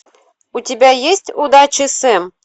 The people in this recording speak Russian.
у тебя есть удачи сэм